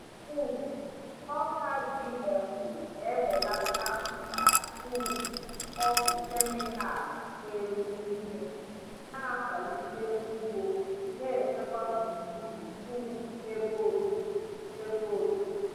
um Ọka GMO na-ebelata mkpa um ọgwụ kemịkalụ na-egbu ihe, na-akwalite ugbo na-echekwa gburugburu um ebe obibi. ebe obibi.